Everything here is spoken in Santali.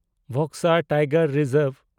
Buxa tiger reserve